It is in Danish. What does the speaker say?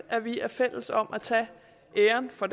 at vi er fælles om at tage æren for